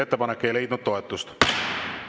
Ettepanek ei leidnud toetust.